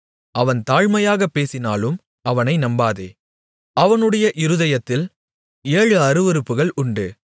அவன் தாழ்மையாக பேசினாலும் அவனை நம்பாதே அவனுடைய இருதயத்தில் ஏழு அருவருப்புகள் உண்டு